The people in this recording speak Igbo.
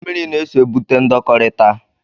Mmiri na-eso egbute ndọkọrita.